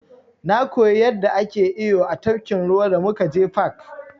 Na koyi yanda ake iyo a tafkin ruwa da muka je fak.